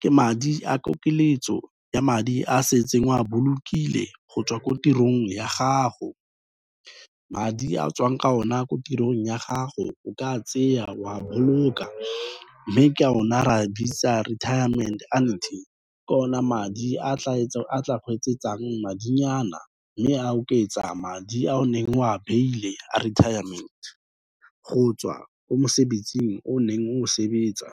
ke madi a kokeletso ya madi a o setseng o a bolokile go tswa ko tirong ya gago. Madi a tswang ka o na ko tirong ya gago o ka tseya wa boloka, mme ke o na ra bitsang retirement annuity ke o na madi a tla go etsetsang madinyana mme a oketsa madi a o neng o a beile a retirement go tswa ko mosebetsing o neng o sebetsa.